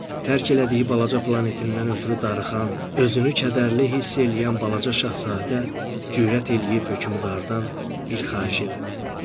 Tərk elədiyi balaca planetindən ötrü darıxan, özünü kədərli hiss eləyən balaca şahzadə cürət eləyib hökmdardan bir xahiş elədi.